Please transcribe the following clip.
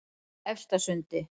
Efstasundi